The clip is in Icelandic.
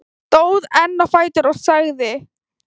Stóð enn á fætur og sagði: